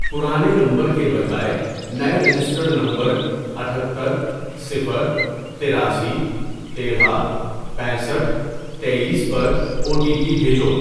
پرانے نمبر کے بجائے نئے رجسٹرڈ نمبر، اتھتر ، صفر ، تراسی ، تیرہ ، پینسٹھ ، تییس ، پر او ٹی پی بھیجو۔